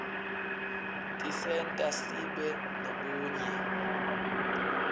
tisenta sibe nebunye